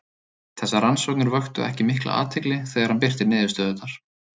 Þessar rannsóknir vöktu ekki mikla athygli þegar hann birti niðurstöðurnar.